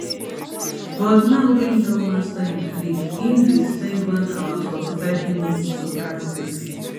but now wey im don master im trick im dey spend one hour fortyfive minutes to practice